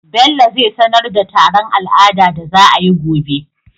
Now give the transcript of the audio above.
bello zai sanar da taron al'ada da za ayi gobe